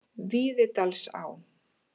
Víðidalsá